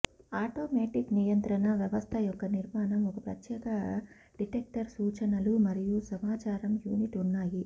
automatic నియంత్రణ వ్యవస్థ యొక్క నిర్మాణం ఒక ప్రత్యేక డిటెక్టర్ సూచనలు మరియు సమాచారం యూనిట్ ఉన్నాయి